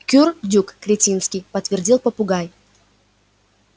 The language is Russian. кур-рдюк кретинский подтвердил попугай